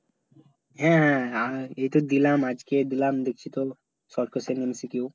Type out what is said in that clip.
হ্যাঁ এইতো দিলাম আজকে দিলাম দেখছি তো short question MCQ